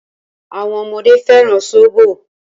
Àwọn ọmọdé fẹ́ràn sóbò.